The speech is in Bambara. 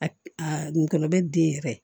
A a ngɔnɔ bɛ den yɛrɛ